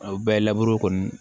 Aw bɛɛ laburu kɔni